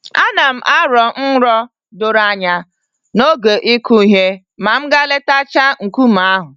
Anam arọ nrọ doro anya n'oge ịkụ ihe ma m gaa letachaa nkume ahụ.